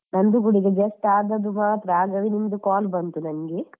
ನಂದು ಕುಡಿದು just ಆದದ್ದು ಮಾತ್ರ. ಆಗ ನಿಮ್ದು call ಬಂತು ನಂಗೆ.